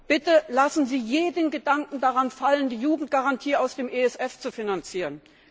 Bitte lassen sie jeden Gedanken daran fallen, die Jugendgarantie aus dem ESF zu finanzieren.